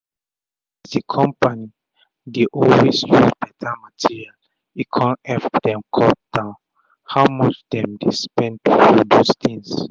as d compani dey always use better material e kon epp dem cut down um how much dem um dey spend to produce things.